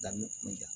Dami kun tɛ